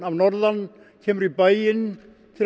norðan kemur í bæinn til